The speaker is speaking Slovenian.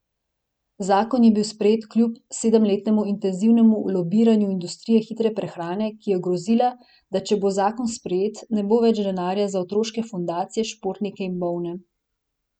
Zakon je bil sprejet kljub sedemletnemu intenzivnemu lobiranju industrije hitre prehrane, ki je grozila, da če bo zakon sprejet, ne bo več denarja za otroške fundacije, športnike in bolne.